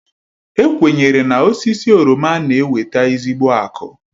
E kwenyere na osisi oroma na-eweta ezigbo akụ.